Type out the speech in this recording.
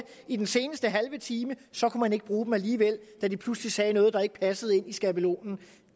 i den seneste halve time og så kunne man ikke bruge dem alligevel da de pludselig sagde noget der ikke passede ind i skabelonen